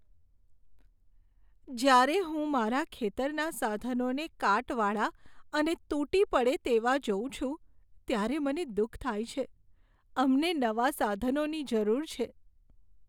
જ્યારે હું મારા ખેતરના સાધનોને કાટવાળા અને તૂટી પડે તેવાં જોઉં છું, ત્યારે મને દુઃખ થાય છે. અમને નવા સાધનોની જરૂર છે.